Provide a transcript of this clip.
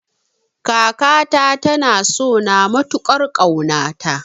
Kakata ta na sona matukar kauna ta